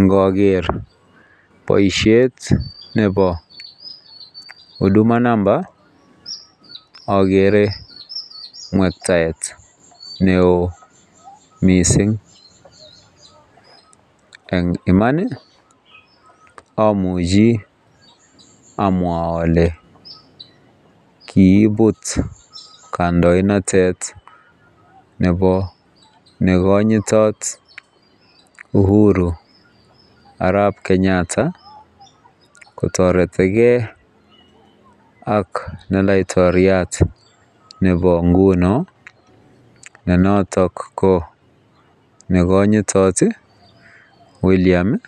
Ngoker boisiet nebo huduma number akere mwektaet neoo mising eng iman amuchi amwa ale kibut kandoinatet nebo nekonyitot uhuru arap kenyatta kotoreti kei ak ne laitoriat nebo nguno nenotok ko nekonyitot william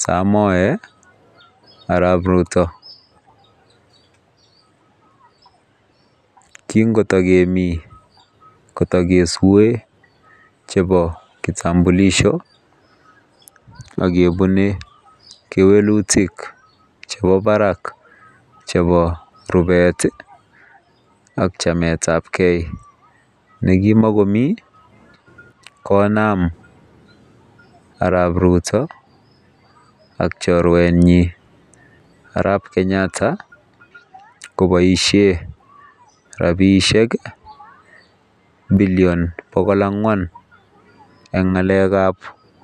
samoei arap ruto kingotagemi kotake sue chebo kitambulisho akebune kewelutik chebo barak chebo rubet ak chametab kei nekimakomii konam arap ruto ak chorwet nyi arap[ kenyatta koboisie rabisiek billion bokol angwan eng ngalekab.